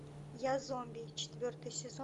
я зомби четвертый сезон